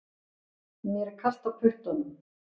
Mér er kalt á puttunum